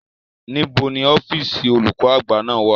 Níbo ni ọ́fíìsì olùkó àgbà náà wà?